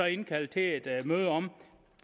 indkalde til et møde om